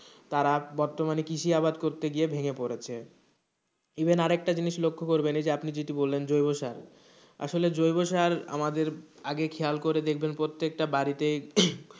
তারা বর্তমানে কৃষি আবাদ করতে গিয়ে ভেঙ্গে পড়েছে, even আরেকটা জিনিস লক্ষ্য করবেন আপনি যেটা বললেন জৈব সার আসলে জৈব সার আমাদের আগে খেয়াল করে দেখবেন প্রত্যেকটা বাড়িতেই,